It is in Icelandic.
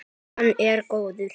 Hann er góður.